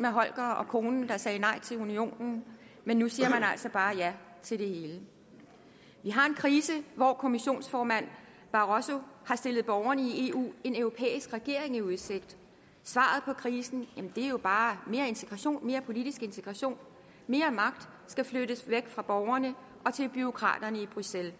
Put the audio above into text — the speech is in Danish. med holger og konen der sagde nej til unionen men nu siger man altså bare ja til det hele vi har en krise hvor kommissionsformand barroso har stillet borgerne i eu en europæisk regering i udsigt svaret på krisen er jo bare mere politisk integration mere magt skal flyttes væk fra borgerne og til bureaukraterne i bruxelles